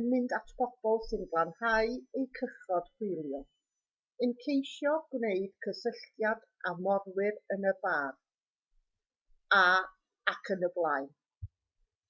yn mynd at bobl sy'n glanhau eu cychod hwylio yn ceisio gwneud cysylltiad â morwyr yn y bar ayb